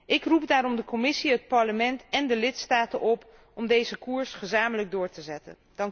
Ik roep daarom de Commissie, het Parlement en de lidstaten op om deze koers gezamenlijk door te zetten.